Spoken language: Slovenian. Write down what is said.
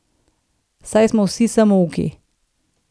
Saj smo vsi samouki!